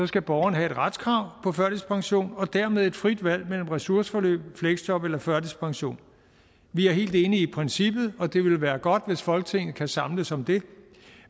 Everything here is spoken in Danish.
skal borgeren have et retskrav på førtidspension og dermed et frit valg mellem ressourceforløb fleksjob eller førtidspension vi er helt enige i princippet og det ville være godt hvis folketinget kan samles om det